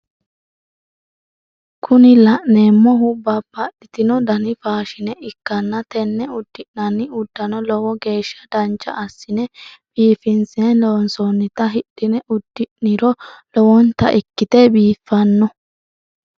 Kuni la'neemohu babbadhitino dani faashine ikkanna tenne uddi'nanni uddano lowo geesha dancha assine biifinse loonsonita hidhine uddi'niro lowonta ikkite biifanno.